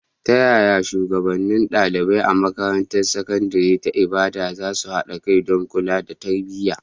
Ta yaya shugabannin ɗalibai a makarantar sakandare ta Ibadan za su haɗa kai don kula da tarbiyya.